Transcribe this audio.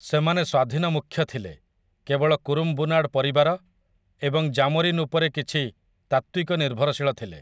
ସେମାନେ ସ୍ୱାଧୀନ ମୁଖ୍ୟ ଥିଲେ, କେବଳ କୁରୁମ୍ବୁନାଡ ପରିବାର ଏବଂ ଜାମୋରିନ ଉପରେ କିଛି ତାତ୍ତ୍ୱିକ ନିର୍ଭରଶୀଳ ଥିଲେ ।